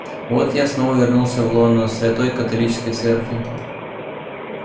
вот я снова вернулся в лоно святой католической церкви